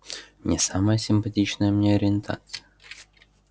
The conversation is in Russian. не самая симпатичная мне ориентация